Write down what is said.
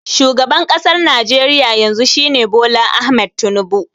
Shugaban ƙasar Najeriya yanzu shi ne Bola Ahmed Tinubu